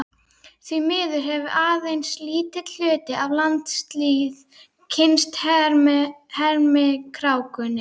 Því miður hefur aðeins lítill hluti af landslýð kynnst hermikrákunni